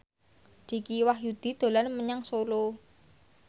Dicky Wahyudi dolan menyang Solo